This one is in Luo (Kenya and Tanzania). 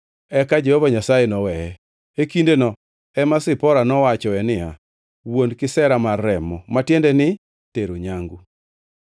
Eka Jehova Nyasaye noweye. (E kindeno ema Zipora nowachoe niya, “Wuon kisera mar remo,” ma tiende ni tero nyangu.)